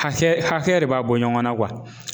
Hakɛ hakɛ de b'a bɔ ɲɔgɔnna